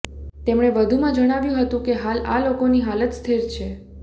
તેમણે વધુમાં જણાવ્યું હતું કે હાલ આ લોકોની હાલત સ્થિર છે